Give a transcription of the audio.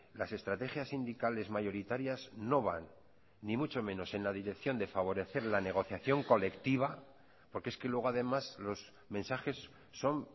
las estrategias sindicales mayoritarias no van ni mucho menos en la dirección de favorecer la negociación colectiva porque es que luego además los mensajes son